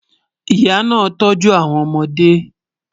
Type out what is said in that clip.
Ìyà náà tọ̀jú awọn ọmọde